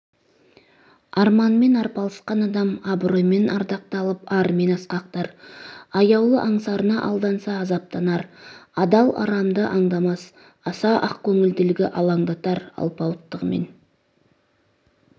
арманымен арпалысқан адам абыройымен ардақталып арымен асқақтар аяулы аңсарына алданса азаптанар адал арамды аңдамас аса ақкөңілділігі алаңдатар алпауыттығымен